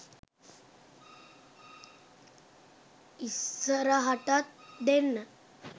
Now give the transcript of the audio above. ඉස්සරහටත් ‍දෙන්න